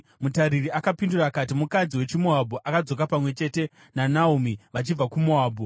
Mutariri akapindura akati, “Mukadzi wechiMoabhu akadzoka pamwe chete naNaomi vachibva kuMoabhu.